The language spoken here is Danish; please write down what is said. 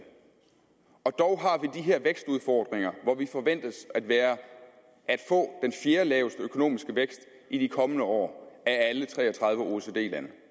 og dog har vi her vækstudfordringer hvor vi forventes at få den fjerdelaveste økonomiske vækst i de kommende år af alle tre og tredive oecd lande